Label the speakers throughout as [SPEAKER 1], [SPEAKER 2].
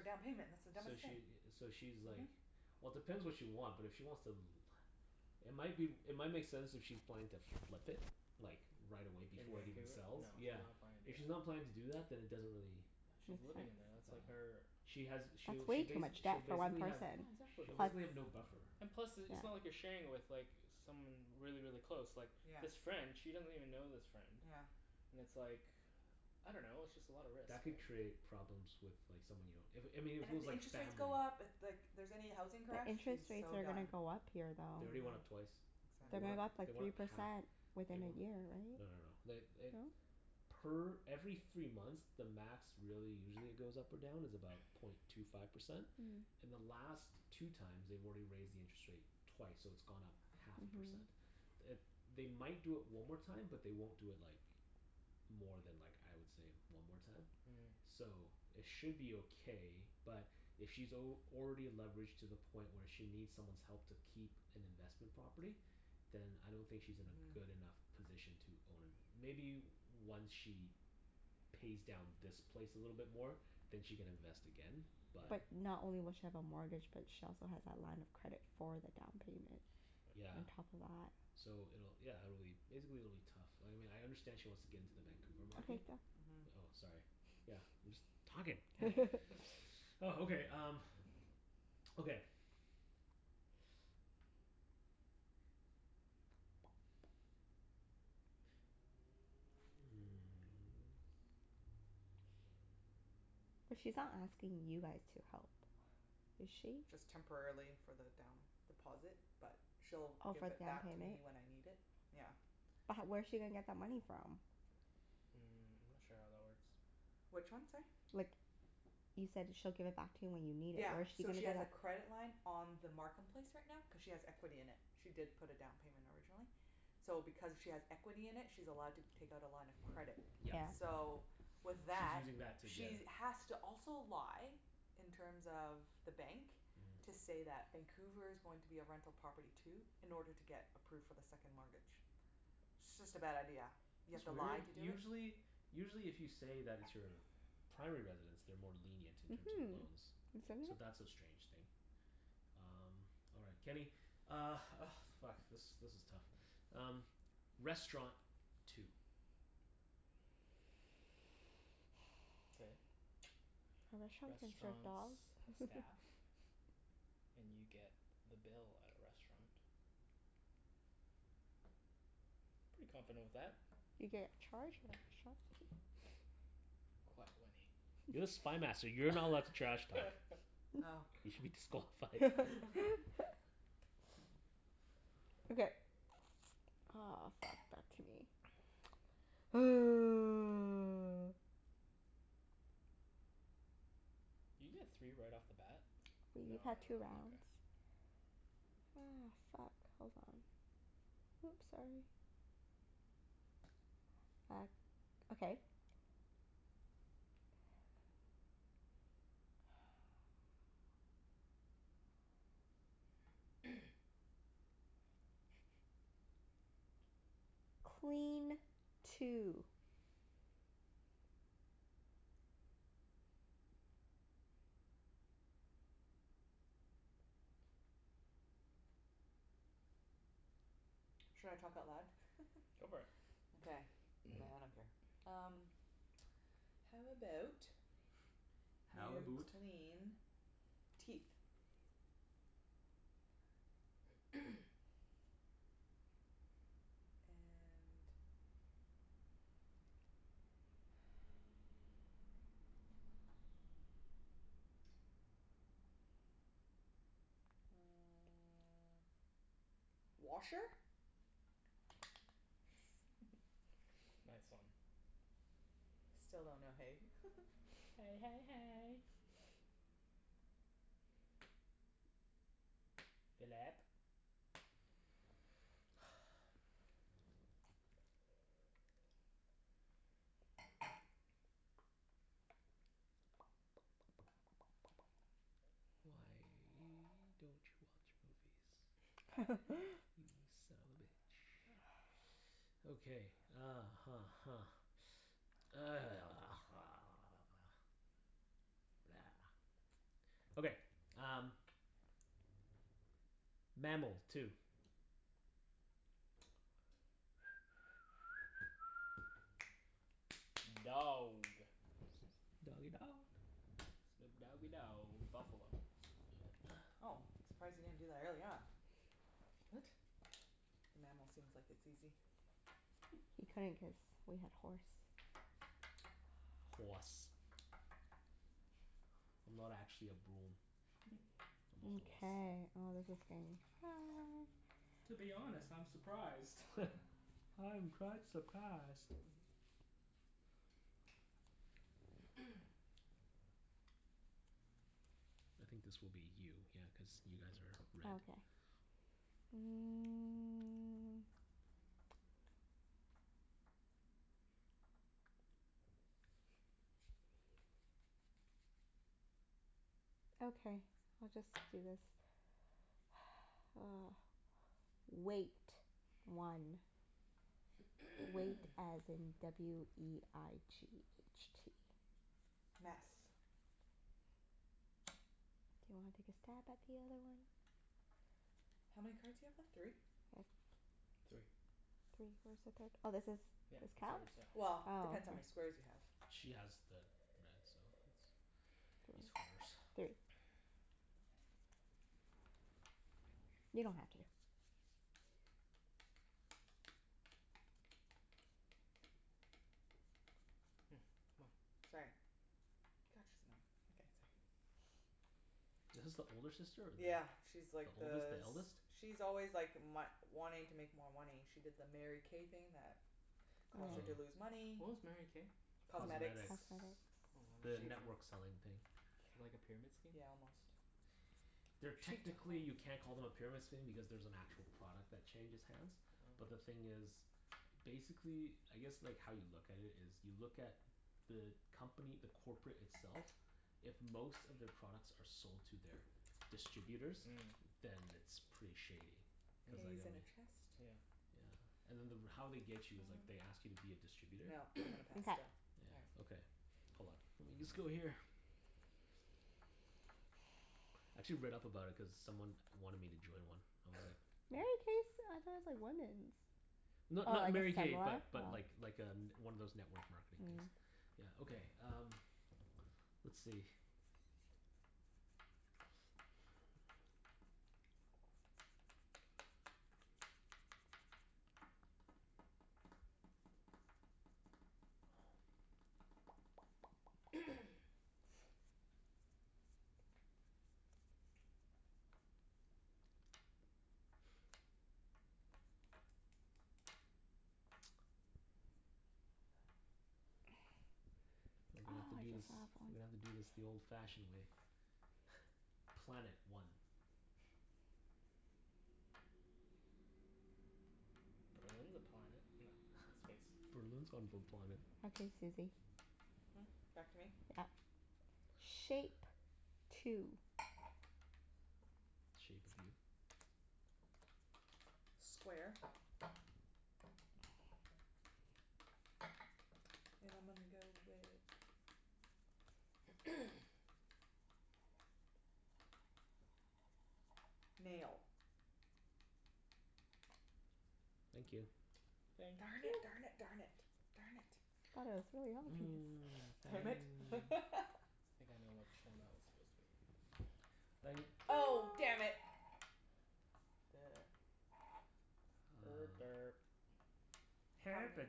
[SPEAKER 1] down payment. That's the dumbest
[SPEAKER 2] So
[SPEAKER 1] thing.
[SPEAKER 2] she i- so she's
[SPEAKER 1] Mhm.
[SPEAKER 2] like Well depends what she want, but if she wants to l- It might be w- It might make sense if she's planning to flip it. Like, right away
[SPEAKER 3] In
[SPEAKER 2] before it even
[SPEAKER 3] Vancouver? No,
[SPEAKER 2] sells.
[SPEAKER 3] she's
[SPEAKER 2] Yeah.
[SPEAKER 3] not planning to
[SPEAKER 2] If
[SPEAKER 3] do that.
[SPEAKER 2] she's not planning to do that then it doesn't really
[SPEAKER 3] Yeah,
[SPEAKER 4] Make
[SPEAKER 3] she's living in
[SPEAKER 4] sense.
[SPEAKER 3] there. That's like
[SPEAKER 2] Uh
[SPEAKER 3] her
[SPEAKER 2] She has
[SPEAKER 4] That's
[SPEAKER 2] she'll
[SPEAKER 4] way
[SPEAKER 2] she
[SPEAKER 4] too
[SPEAKER 2] bas-
[SPEAKER 4] much
[SPEAKER 2] she'll
[SPEAKER 4] debt for one
[SPEAKER 2] basically have
[SPEAKER 4] person.
[SPEAKER 3] Yeah, exactly.
[SPEAKER 2] she'll basically have no
[SPEAKER 4] Plus
[SPEAKER 2] buffer.
[SPEAKER 3] And plus, i- it's not like
[SPEAKER 4] yeah.
[SPEAKER 3] you're sharing it with like someone really, really close. Like
[SPEAKER 1] Yeah.
[SPEAKER 3] this friend she doesn't even know this friend.
[SPEAKER 1] Yeah.
[SPEAKER 3] And it's like, I don't know. It's just a lot of risk,
[SPEAKER 2] That could
[SPEAKER 3] right?
[SPEAKER 2] create problems with like someone you don't if, I mean
[SPEAKER 1] And
[SPEAKER 2] if it
[SPEAKER 1] if
[SPEAKER 2] was
[SPEAKER 1] the
[SPEAKER 2] like
[SPEAKER 1] interest rates
[SPEAKER 2] family
[SPEAKER 1] go up, if like here's any housing crash,
[SPEAKER 4] The
[SPEAKER 1] she's
[SPEAKER 4] interest rates
[SPEAKER 1] so
[SPEAKER 4] are
[SPEAKER 1] done.
[SPEAKER 4] gonna go up here,
[SPEAKER 2] They
[SPEAKER 4] though.
[SPEAKER 2] already went up
[SPEAKER 1] Mhm.
[SPEAKER 2] twice. They
[SPEAKER 4] They're
[SPEAKER 3] Mm.
[SPEAKER 2] went
[SPEAKER 4] gonna
[SPEAKER 2] up,
[SPEAKER 4] go up
[SPEAKER 1] Exactly.
[SPEAKER 2] they
[SPEAKER 4] like
[SPEAKER 2] went
[SPEAKER 4] three
[SPEAKER 2] up half.
[SPEAKER 4] percent
[SPEAKER 2] They
[SPEAKER 4] within
[SPEAKER 2] we-
[SPEAKER 4] a year,
[SPEAKER 2] no no no.
[SPEAKER 4] right?
[SPEAKER 2] They eh
[SPEAKER 4] No?
[SPEAKER 2] Per every three months the max really usually it goes up or down is about point two five percent.
[SPEAKER 4] Mm.
[SPEAKER 2] In the last two times they've already raised the interest rate twice, so it's gone up half a
[SPEAKER 4] Mhm.
[SPEAKER 2] percent. It, they might do it one more time, but they won't do it like more than like, I would say, one more time.
[SPEAKER 3] Mhm.
[SPEAKER 2] So, it should be okay but if she's al- already leveraged to the point where she needs someone's help to keep an investment property then I don't think she's in a
[SPEAKER 1] Mhm.
[SPEAKER 2] good enough position to own a Maybe once she pays down this place a little bit more. Then she can invest again
[SPEAKER 3] Yeah.
[SPEAKER 2] but
[SPEAKER 4] But not only will she have a mortgage, but she also has that line of credit for the down payment.
[SPEAKER 2] Yeah.
[SPEAKER 4] On top of that.
[SPEAKER 2] So it'll, yeah, it'll be, basically it'll be tough. Like, I mean I understand she wants to get into the Vancouver market
[SPEAKER 4] Okay, go.
[SPEAKER 1] Mhm.
[SPEAKER 2] Oh, sorry. Yeah, I'm just talking. Oh, okay um okay Hmm.
[SPEAKER 4] But she's not asking you guys to help, is she?
[SPEAKER 1] Just temporarily for the down deposit, but she'll
[SPEAKER 4] Oh,
[SPEAKER 1] give
[SPEAKER 4] for
[SPEAKER 1] it
[SPEAKER 4] the down
[SPEAKER 1] back to
[SPEAKER 4] payment?
[SPEAKER 1] me when I need it. Yeah.
[SPEAKER 4] But h- where's she gonna get that money from?
[SPEAKER 3] Mm, I'm not sure how that works.
[SPEAKER 1] Which one, sorry?
[SPEAKER 4] Like, you said she'll give it back to you when you need it.
[SPEAKER 1] Yeah.
[SPEAKER 4] Where's she
[SPEAKER 1] So
[SPEAKER 4] gonna
[SPEAKER 1] she has a credit line on the Markham place right now cuz she has equity in it. She did put a down payment originally. So because she has equity in it she's allowed to take out a line of credit.
[SPEAKER 2] Yes.
[SPEAKER 4] Yeah.
[SPEAKER 1] So, with
[SPEAKER 2] She's
[SPEAKER 1] that
[SPEAKER 2] using that to get
[SPEAKER 1] she
[SPEAKER 2] a
[SPEAKER 1] has to also lie in terms of the bank to
[SPEAKER 2] Mhm.
[SPEAKER 1] say that Vancouver's going to be a rental property too. In order to get approved for the second mortgage. It's just a bad idea. You have
[SPEAKER 2] That's
[SPEAKER 1] to
[SPEAKER 2] weird.
[SPEAKER 1] lie to do it?
[SPEAKER 2] Usually usually if you say that it's your primary residence they're more lenient in terms of
[SPEAKER 4] Mhm.
[SPEAKER 2] loans. So that's a strange thing. Um, all right. Kenny Uh, oh fuck, this this is tough. Um, restaurant. Two.
[SPEAKER 3] K.
[SPEAKER 4] A restaurant can serve
[SPEAKER 3] Restaurants
[SPEAKER 4] dog.
[SPEAKER 3] have staff. And you get the bill at a restaurant. Pretty confident with that.
[SPEAKER 4] You get charged
[SPEAKER 3] Quiet, Wenny.
[SPEAKER 2] You're the Spy Master. You're not allowed to trash talk.
[SPEAKER 1] Oh.
[SPEAKER 2] You should be disqualified.
[SPEAKER 4] Okay. Oh, fuck. Back to me.
[SPEAKER 3] Did you get three right off the bat? No no
[SPEAKER 4] We've had two
[SPEAKER 3] no,
[SPEAKER 4] rounds.
[SPEAKER 3] okay.
[SPEAKER 4] Ah, fuck. Hold on. Whoops, sorry. Back, okay. Clean. Two.
[SPEAKER 1] Should I talk out loud?
[SPEAKER 3] Go for it.
[SPEAKER 1] Okay. Yeah, I don't care. Um How about
[SPEAKER 2] How
[SPEAKER 1] you
[SPEAKER 2] aboot
[SPEAKER 1] clean teeth? And uh washer?
[SPEAKER 4] Yes.
[SPEAKER 3] Nice one.
[SPEAKER 1] Still don't know hay.
[SPEAKER 3] Hey hey hey. Phillip.
[SPEAKER 2] Why don't you watch movies? You son of a bitch. Okay, uh huh huh. Okay, um Mammal. Two.
[SPEAKER 3] Dog.
[SPEAKER 2] Doggie dog.
[SPEAKER 3] Snoop doggie dow Buffalo.
[SPEAKER 1] Oh, surprised you didn't do that earlier on.
[SPEAKER 3] What?
[SPEAKER 1] The mammal seems like it's easy.
[SPEAKER 4] He couldn't cuz we had horse.
[SPEAKER 2] Hoarse. I'm not actually a broom. I'm a horse.
[SPEAKER 4] Mkay. Oh, this is getting hard.
[SPEAKER 3] To be honest, I'm surprised.
[SPEAKER 2] I'm quite surprised. I think this will be you. Yeah, cuz you guys are red.
[SPEAKER 4] Okay. Mm. Okay, we'll just do this. Weight. One. Weight as in w e i g h t.
[SPEAKER 1] Mess.
[SPEAKER 4] Do you wanna take a stab at the other one?
[SPEAKER 1] How many cards you have left? Three?
[SPEAKER 3] Three.
[SPEAKER 4] Three? Where's the third? Oh, this is,
[SPEAKER 3] Yep.
[SPEAKER 4] this
[SPEAKER 3] It's
[SPEAKER 4] counts?
[SPEAKER 3] yours. Yep.
[SPEAKER 4] Oh.
[SPEAKER 1] Well, depends how many squares you have.
[SPEAKER 2] She has the red so it's it's horse.
[SPEAKER 4] Three. You don't have to.
[SPEAKER 3] Hmm. Come on.
[SPEAKER 1] Sorry. God, she's annoying. Okay, sorry.
[SPEAKER 2] Is this the older sister or the
[SPEAKER 1] Yeah, she's like
[SPEAKER 2] The oldest?
[SPEAKER 1] the
[SPEAKER 2] The eldest?
[SPEAKER 1] s- she's always like my- wanting to make more money. She did the Mary K thing that
[SPEAKER 3] Oh,
[SPEAKER 1] caused her to
[SPEAKER 2] Oh.
[SPEAKER 1] lose
[SPEAKER 4] Oh.
[SPEAKER 1] money.
[SPEAKER 3] what was Mary K?
[SPEAKER 1] Cosmetics.
[SPEAKER 4] Cosmetics.
[SPEAKER 2] Cosmetics.
[SPEAKER 3] Oh,
[SPEAKER 2] The
[SPEAKER 1] She
[SPEAKER 2] network selling thing.
[SPEAKER 3] like a pyramid scheme?
[SPEAKER 1] Yeah, almost.
[SPEAKER 2] They're, technically you can't call them a pyramid scheme because there's an actual product that changes hands. But the
[SPEAKER 3] Oh.
[SPEAKER 2] thing is basically, I guess like how you look at it is you look at the company, the corporate itself if most of their products are sold to their distributors
[SPEAKER 3] Mm.
[SPEAKER 2] then it's pretty shady. Cuz like
[SPEAKER 3] Mm,
[SPEAKER 2] I
[SPEAKER 1] in a
[SPEAKER 2] mean
[SPEAKER 1] chest.
[SPEAKER 3] yeah.
[SPEAKER 2] Yeah. And then the r- how they get you is like they ask you to be a distributor.
[SPEAKER 1] No, I'm gonna pass
[SPEAKER 4] Mkay.
[SPEAKER 1] still. All right.
[SPEAKER 2] Yeah. Okay. Hold on. Let me just go here. I actually read up about it cuz someone wanted me to join one. I was like
[SPEAKER 4] Mary K's, I thought it's like women's? Oh,
[SPEAKER 2] Not
[SPEAKER 4] I
[SPEAKER 2] not Mary
[SPEAKER 4] guess
[SPEAKER 2] K
[SPEAKER 4] similar?
[SPEAKER 2] but
[SPEAKER 4] Oh.
[SPEAKER 2] but like like a n- one of those network marketing
[SPEAKER 4] Mm.
[SPEAKER 2] things. Yeah, okay um let's see
[SPEAKER 4] Oh,
[SPEAKER 2] We're gonna have to
[SPEAKER 4] I
[SPEAKER 2] do this
[SPEAKER 4] just thought of
[SPEAKER 2] We're gonna
[SPEAKER 4] one.
[SPEAKER 2] have to do this the old fashioned way. Planet. One.
[SPEAKER 3] Berlin's a planet. No. Space.
[SPEAKER 2] Berlin's on a planet.
[SPEAKER 4] Okay, Susie.
[SPEAKER 1] Hmm? Back to me?
[SPEAKER 4] Yep. Shape. Two.
[SPEAKER 2] Shape of you.
[SPEAKER 1] Square. And I'm gonna go with Nail.
[SPEAKER 2] Thank you.
[SPEAKER 3] Thank
[SPEAKER 1] Darn it,
[SPEAKER 3] you
[SPEAKER 1] darn
[SPEAKER 3] p-
[SPEAKER 1] it, darn it. Darn it.
[SPEAKER 4] Thought it was really obvious.
[SPEAKER 1] Damn it.
[SPEAKER 3] I think I know which one that was supposed to be.
[SPEAKER 1] Oh
[SPEAKER 4] No.
[SPEAKER 1] damn it.
[SPEAKER 3] Er
[SPEAKER 2] Uh
[SPEAKER 3] derp.
[SPEAKER 1] How many,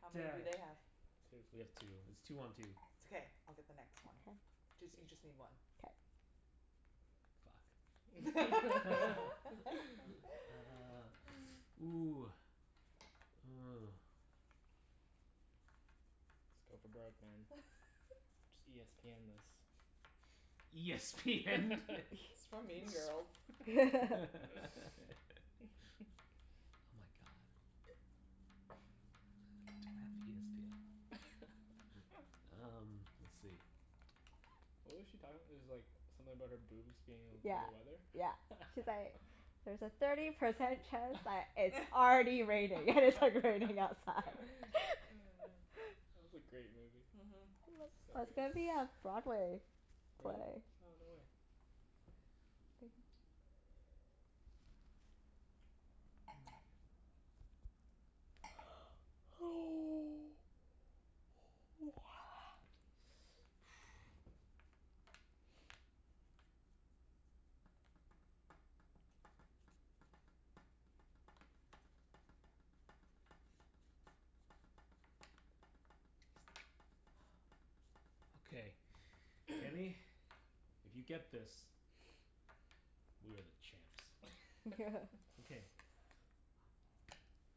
[SPEAKER 1] how many do they have?
[SPEAKER 3] Two.
[SPEAKER 2] We have two. It's two one two.
[SPEAKER 1] It's okay. I'll get the next
[SPEAKER 4] K.
[SPEAKER 1] one. Jus- you just
[SPEAKER 3] Yes.
[SPEAKER 1] need one.
[SPEAKER 4] K.
[SPEAKER 2] Fuck. Ah, ooh. Oh.
[SPEAKER 3] Let's go for broke, man. Just e s p end this.
[SPEAKER 2] E s p end this.
[SPEAKER 1] It's from Mean Girls.
[SPEAKER 2] Oh my god. Um, let's see.
[SPEAKER 3] What was she talking? It's like something about her boobs being able to
[SPEAKER 4] Yeah,
[SPEAKER 3] tell the weather?
[SPEAKER 4] yeah. She's like "There's a thirty percent chance
[SPEAKER 3] That
[SPEAKER 4] that it's already raining." And it's like raining outside.
[SPEAKER 3] was a great movie.
[SPEAKER 1] Mhm.
[SPEAKER 4] I
[SPEAKER 3] So
[SPEAKER 4] love,
[SPEAKER 3] good.
[SPEAKER 4] it's gonna be a Broadway
[SPEAKER 3] Really?
[SPEAKER 4] play.
[SPEAKER 3] Oh, no way.
[SPEAKER 2] Okay. Kenny, if you get this we are the champs. Okay.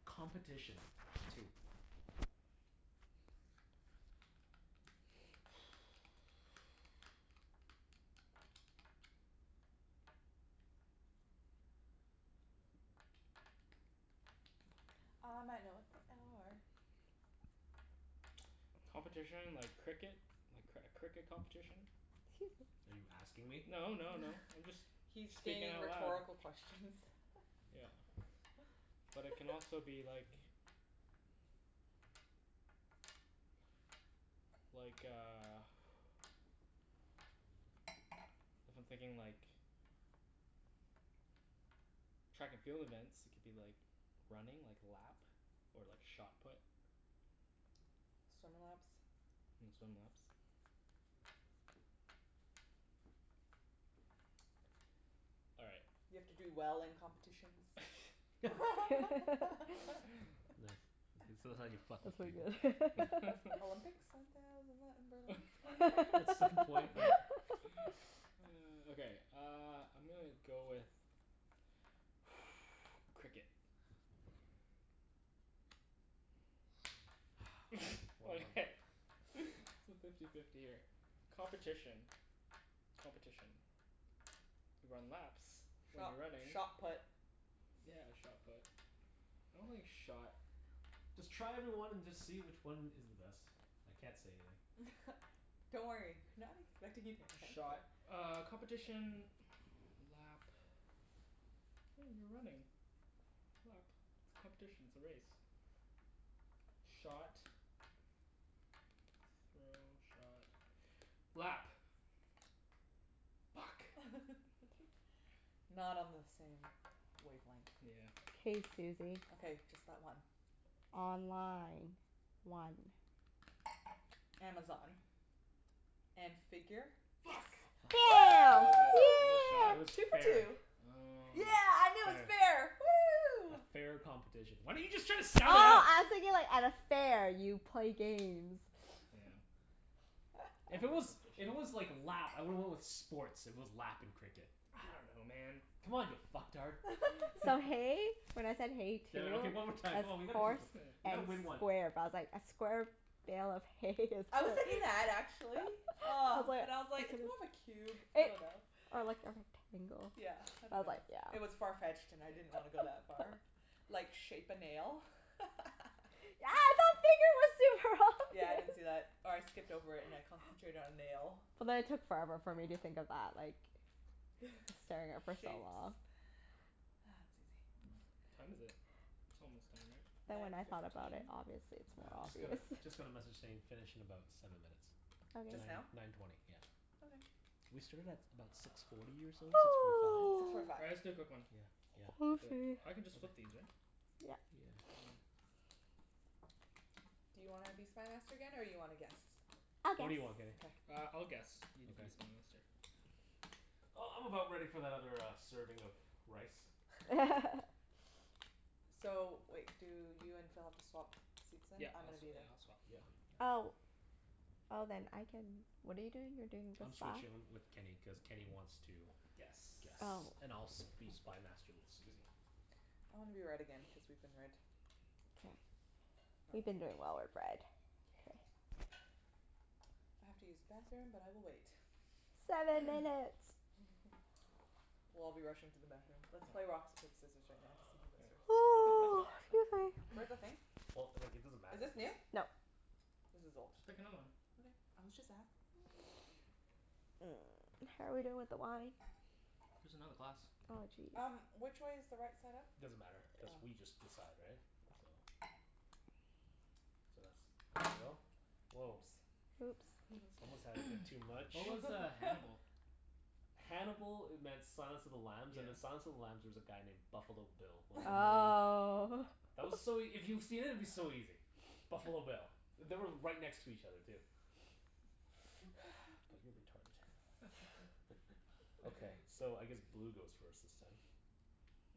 [SPEAKER 2] Competition. Two.
[SPEAKER 1] I might know what they are.
[SPEAKER 3] Competition like cricket? A cr- cricket competition?
[SPEAKER 4] 'Scuse me.
[SPEAKER 2] Are you asking me?
[SPEAKER 3] No no no, I'm just
[SPEAKER 1] He's
[SPEAKER 3] speaking
[SPEAKER 1] stating
[SPEAKER 3] out loud.
[SPEAKER 1] rhetorical questions.
[SPEAKER 3] Yeah. But it can also be like like a if I'm thinking like track and field events, it could be like running, like lap. Or like shot put.
[SPEAKER 1] Swim laps.
[SPEAKER 3] And swim laps. All right.
[SPEAKER 1] You have to do well in competitions.
[SPEAKER 2] Nah, that's how you fuck
[SPEAKER 4] That's
[SPEAKER 2] with
[SPEAKER 4] pretty
[SPEAKER 2] people.
[SPEAKER 4] good.
[SPEAKER 1] Olympics? Isn't that the, isn't that in Berlin?
[SPEAKER 2] At some point we
[SPEAKER 3] Okay, uh I'm gonna go with Cricket.
[SPEAKER 2] One month
[SPEAKER 3] Okay, it's fifty fifty here. Competition. Competition. You run laps when
[SPEAKER 1] Shot
[SPEAKER 3] you're running.
[SPEAKER 1] shot put.
[SPEAKER 3] Yeah, shot put. I don't think shot
[SPEAKER 2] Just try every one and just see which one is the best. I can't say anything.
[SPEAKER 1] Don't worry. We're not expecting you to answer.
[SPEAKER 3] Shot uh competition lap oh, you're running lap. It's competition, it's a race. Shot throw, shot, lap. Fuck.
[SPEAKER 1] Not on the same wavelength.
[SPEAKER 3] Yeah.
[SPEAKER 4] K, Susie.
[SPEAKER 1] Okay. Just that one.
[SPEAKER 4] Online. One.
[SPEAKER 1] Amazon. And figure?
[SPEAKER 4] Yes!
[SPEAKER 2] Fu-
[SPEAKER 4] Yeah.
[SPEAKER 3] Killed it. Was it shot?
[SPEAKER 2] It
[SPEAKER 1] Woo!
[SPEAKER 2] was
[SPEAKER 4] Yeah.
[SPEAKER 1] Two for
[SPEAKER 2] fair.
[SPEAKER 1] two.
[SPEAKER 3] Oh.
[SPEAKER 1] Yeah, I knew it was
[SPEAKER 2] Fair.
[SPEAKER 1] fair.
[SPEAKER 2] A
[SPEAKER 1] Woo!
[SPEAKER 2] fair competition. Why didn't you just try to
[SPEAKER 4] Oh,
[SPEAKER 2] sound it out?
[SPEAKER 4] I was thinking like at a fair you play games.
[SPEAKER 3] Yeah.
[SPEAKER 2] If it was, if it was
[SPEAKER 3] Competition.
[SPEAKER 2] like lap, I would've went with sports, if it was lap and cricket.
[SPEAKER 3] I don't know, man.
[SPEAKER 2] Come on you fucktard.
[SPEAKER 4] So hay, when I said hay two
[SPEAKER 2] Damn it. Okay, one more time.
[SPEAKER 4] as
[SPEAKER 2] Come on, we gotta keep
[SPEAKER 4] horse
[SPEAKER 2] on
[SPEAKER 3] Okay.
[SPEAKER 2] We
[SPEAKER 4] and
[SPEAKER 2] gotta win one.
[SPEAKER 4] square. But I was like a square bale of hay is
[SPEAKER 1] I was thinking that actually.
[SPEAKER 4] I
[SPEAKER 1] Ah. But I
[SPEAKER 4] was
[SPEAKER 1] was like,
[SPEAKER 4] like
[SPEAKER 1] "It's more of a cube. I
[SPEAKER 4] It
[SPEAKER 1] dunno."
[SPEAKER 4] or like a rectangle.
[SPEAKER 1] Yeah, I
[SPEAKER 4] I was like,
[SPEAKER 1] dunno.
[SPEAKER 4] yeah.
[SPEAKER 1] It was far-fetched and I didn't wanna go that far. Like, shape a nail? Yeah, I didn't see that. Or I skipped over it and I concentrated on nail.
[SPEAKER 4] But then it took forever for me to think of that, like staring at it for so
[SPEAKER 1] Shapes.
[SPEAKER 4] long.
[SPEAKER 1] Ah,
[SPEAKER 3] Mm.
[SPEAKER 1] Susie.
[SPEAKER 3] What time is it? It's almost time, right?
[SPEAKER 4] Then when
[SPEAKER 1] Nine
[SPEAKER 4] I thought about it,
[SPEAKER 1] fifteen.
[SPEAKER 4] obviously it's
[SPEAKER 2] I
[SPEAKER 4] more
[SPEAKER 2] u- just got a
[SPEAKER 4] obvious.
[SPEAKER 2] just got a message saying finish in about seven minutes.
[SPEAKER 1] Just now?
[SPEAKER 2] Nine
[SPEAKER 4] Okay.
[SPEAKER 2] nine twenty, yeah.
[SPEAKER 1] Okay.
[SPEAKER 2] We started at about six forty or so? Six forty five?
[SPEAKER 1] Six forty five.
[SPEAKER 3] All right, let's do a quick one.
[SPEAKER 2] Yeah yeah.
[SPEAKER 4] 'Scuse
[SPEAKER 3] Do
[SPEAKER 4] me.
[SPEAKER 3] it. I can just flip these, right?
[SPEAKER 4] Yep.
[SPEAKER 2] Yeah.
[SPEAKER 1] Do you wanna be Spy Master again, or you wanna guess?
[SPEAKER 4] I'll
[SPEAKER 2] What do
[SPEAKER 4] guess.
[SPEAKER 2] you want, Kenny?
[SPEAKER 1] Okay.
[SPEAKER 3] Uh, I'll guess. You can be Spy
[SPEAKER 2] Okay.
[SPEAKER 3] Master.
[SPEAKER 2] Uh, I'm about ready for that other uh serving of rice.
[SPEAKER 1] So wait, do you and Phil have to swap seats then?
[SPEAKER 3] Yep.
[SPEAKER 1] I'm
[SPEAKER 3] I'll
[SPEAKER 1] gonna
[SPEAKER 3] swa-
[SPEAKER 1] be the
[SPEAKER 3] yeah, I'll swap.
[SPEAKER 2] Yeah yeah.
[SPEAKER 4] Oh. Oh, then I can, what are you doing? You're doing
[SPEAKER 2] I'm
[SPEAKER 4] this side?
[SPEAKER 2] switching um with Kenny, cuz Kenny wants to
[SPEAKER 3] Guess.
[SPEAKER 4] Oh.
[SPEAKER 2] guess. And I'll s- be Spy Master with Susie.
[SPEAKER 1] I wanna be red again cuz we've been red.
[SPEAKER 4] K. We've been doing well with red.
[SPEAKER 1] Yeah.
[SPEAKER 4] K.
[SPEAKER 1] I have to use the bathroom, but I will wait.
[SPEAKER 4] Seven minutes.
[SPEAKER 1] We'll all be rushing to the bathroom. Let's play rock,
[SPEAKER 3] Yeah.
[SPEAKER 1] sc- paper, scissors right now to see who
[SPEAKER 3] All
[SPEAKER 1] goes first.
[SPEAKER 3] right. You guys pick one.
[SPEAKER 4] Excuse me.
[SPEAKER 1] Where's the thing?
[SPEAKER 2] Well, like it doesn't
[SPEAKER 1] Is
[SPEAKER 2] matter if
[SPEAKER 1] this new?
[SPEAKER 2] it's
[SPEAKER 4] No.
[SPEAKER 1] This is old.
[SPEAKER 3] Just pick another one.
[SPEAKER 1] Okay. I was just ask
[SPEAKER 4] Mm, how are we doing with the wine?
[SPEAKER 3] There's another glass.
[SPEAKER 4] Oh, jeez.
[SPEAKER 1] Um, which way is the right side up?
[SPEAKER 2] Doesn't matter, cuz
[SPEAKER 1] Oh.
[SPEAKER 2] we just decide, right? So So that's, there you go. Woah.
[SPEAKER 1] Oops.
[SPEAKER 4] Whoops.
[SPEAKER 2] Someone's had a bit too much.
[SPEAKER 3] What was uh Hannibal?
[SPEAKER 2] Hannibal e- meant Silence of the Lambs, and
[SPEAKER 3] Yeah.
[SPEAKER 2] in Silence of the Lambs there was a guy named Buffalo Bill. Was
[SPEAKER 4] Oh.
[SPEAKER 2] That was so ea- if you've seen it, it'd be so easy. Buffalo Bill. They were right next to each other, too. But you're retarded. Okay. So, I guess blue goes first this time.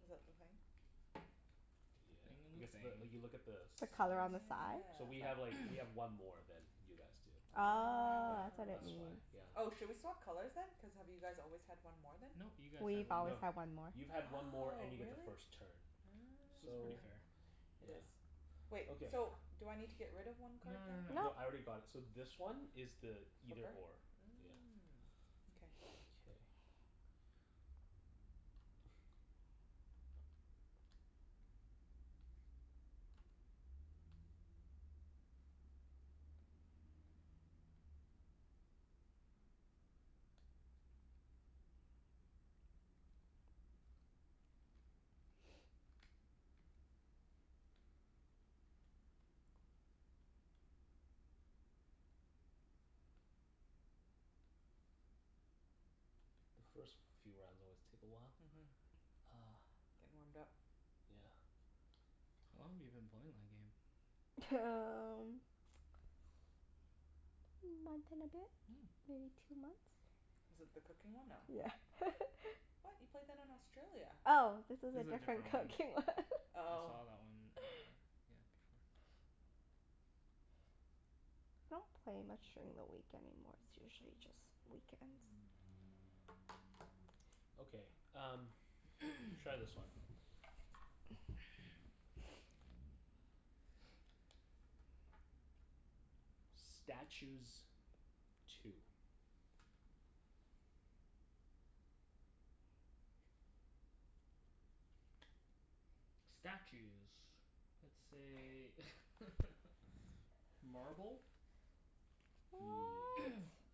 [SPEAKER 1] Is that the thing?
[SPEAKER 3] The
[SPEAKER 2] Yeah,
[SPEAKER 3] thing in the
[SPEAKER 2] because the,
[SPEAKER 3] thing.
[SPEAKER 2] you look at the
[SPEAKER 4] The
[SPEAKER 1] Oh
[SPEAKER 4] color on
[SPEAKER 2] sides.
[SPEAKER 4] the side?
[SPEAKER 2] So
[SPEAKER 1] yeah.
[SPEAKER 2] we have like, we have one more than you guys do.
[SPEAKER 4] Oh,
[SPEAKER 2] Yeah,
[SPEAKER 4] that's what it
[SPEAKER 2] that's why.
[SPEAKER 4] means.
[SPEAKER 1] Oh. Oh,
[SPEAKER 2] Yeah.
[SPEAKER 1] should we swap colors then? Cuz have you guys always had one more then?
[SPEAKER 3] No. You guys had
[SPEAKER 4] We've
[SPEAKER 3] one
[SPEAKER 4] always
[SPEAKER 3] more.
[SPEAKER 2] No.
[SPEAKER 4] had one more.
[SPEAKER 2] You've had one more
[SPEAKER 1] Oh,
[SPEAKER 2] and you get the
[SPEAKER 1] really?
[SPEAKER 2] first turn.
[SPEAKER 3] So it's pretty
[SPEAKER 2] So,
[SPEAKER 3] fair.
[SPEAKER 1] Oh. It
[SPEAKER 2] yeah.
[SPEAKER 1] is. Wait,
[SPEAKER 2] Okay.
[SPEAKER 1] so do I need to get rid of one
[SPEAKER 3] No
[SPEAKER 1] card
[SPEAKER 3] no no no
[SPEAKER 1] then?
[SPEAKER 4] No.
[SPEAKER 2] No, I
[SPEAKER 3] no.
[SPEAKER 2] already got it. So this one is the either or. Yeah.
[SPEAKER 1] Mm. Okay.
[SPEAKER 2] Mkay. The first few rounds always take a while.
[SPEAKER 1] Mhm.
[SPEAKER 2] Ah.
[SPEAKER 1] Gettin' warmed up.
[SPEAKER 2] Yeah.
[SPEAKER 3] How long have you been playing that game?
[SPEAKER 4] T- um month and a bit?
[SPEAKER 3] Mm.
[SPEAKER 4] Maybe two months.
[SPEAKER 1] Is it the cooking one? No.
[SPEAKER 4] Yeah.
[SPEAKER 1] What? You played that in Australia.
[SPEAKER 4] Oh, this is
[SPEAKER 3] This
[SPEAKER 4] a
[SPEAKER 3] is a
[SPEAKER 4] different
[SPEAKER 3] different
[SPEAKER 4] cooking
[SPEAKER 3] one.
[SPEAKER 4] one.
[SPEAKER 3] I
[SPEAKER 1] Oh.
[SPEAKER 3] saw that one earlier. Yeah, before.
[SPEAKER 4] I don't play much during the week anymore. It's usually just weekends.
[SPEAKER 2] Okay, um Try this one. Statues. Two.
[SPEAKER 3] Statues. Let's say Marble.
[SPEAKER 4] What?